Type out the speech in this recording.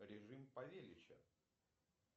режим павелича